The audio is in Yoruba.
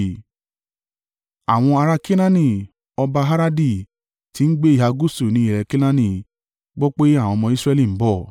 Àwọn ará Kenaani, ọba Aradi, tí ń gbé ìhà gúúsù ní ilẹ̀ Kenaani gbọ́ pé àwọn ọmọ Israẹli ń bọ̀.